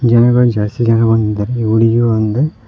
ಜನಗಳು ಜಾಸ್ತಿ ಜನ ಬಂದಿದ್ದಾರೆ ಹುಡುಗಿ ಒಂದು--